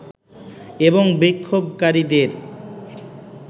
এবং বিক্ষোভকারীদের